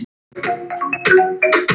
Honum voru fengnar þær.